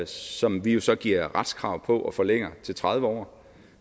som vi jo så giver et retskrav på og forlænger til tredive år